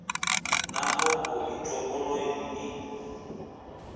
na mbofho i topoleni ni